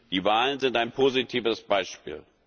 Die Wahlen sind ein positives Beispiel.